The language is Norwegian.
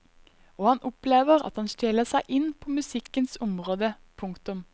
Og han opplever at han stjeler seg inn på musikkens område. punktum